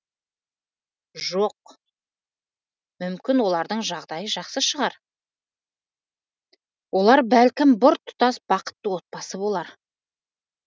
жоқ мүмкін олардың жағдайы жақсы шығар олар бәлкім біртұтас бақытты отбасы болар